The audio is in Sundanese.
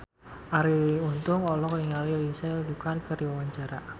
Arie Untung olohok ningali Lindsay Ducan keur diwawancara